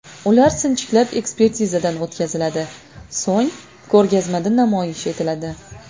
Ular sinchiklab ekspertizadan o‘tkaziladi, so‘ng ko‘rgazmada namoyish etiladi.